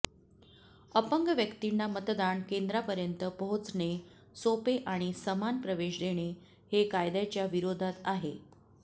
अपंग व्यक्तींना मतदान केंद्रांपर्यंत पोहचणे सोपे आणि समान प्रवेश देणे हे कायद्याच्या विरोधात आहे